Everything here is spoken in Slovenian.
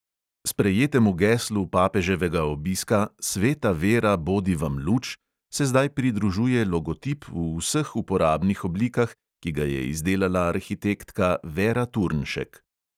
Sprejetemu geslu papeževega obiska "sveta vera bodi vam luč" se zdaj pridružuje logotip v vseh uporabnih oblikah, ki ga je izdelala arhitektka vera turnšek.